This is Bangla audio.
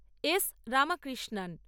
এস রামাকৃষ্ণান